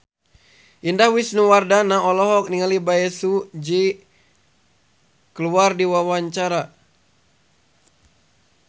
Indah Wisnuwardana olohok ningali Bae Su Ji keur diwawancara